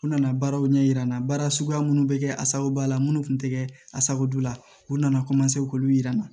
U nana baaraw ɲɛ yira n na baara suguya minnu bɛ kɛ a sababu b'a la minnu tun tɛ kɛ a sababu la u nana k'olu jira n na